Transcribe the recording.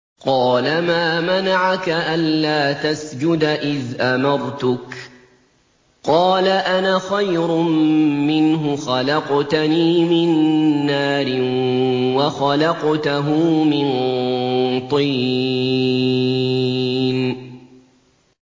قَالَ مَا مَنَعَكَ أَلَّا تَسْجُدَ إِذْ أَمَرْتُكَ ۖ قَالَ أَنَا خَيْرٌ مِّنْهُ خَلَقْتَنِي مِن نَّارٍ وَخَلَقْتَهُ مِن طِينٍ